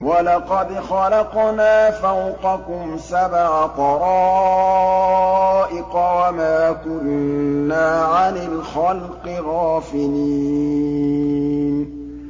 وَلَقَدْ خَلَقْنَا فَوْقَكُمْ سَبْعَ طَرَائِقَ وَمَا كُنَّا عَنِ الْخَلْقِ غَافِلِينَ